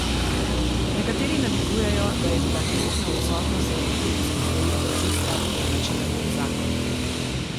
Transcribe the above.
Nekateri namigujejo, da je bila nenehna odsotnost zaradi filmskih projektov tista, ki je načela njun zakon.